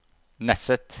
Nesset